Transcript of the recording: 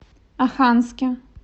оханске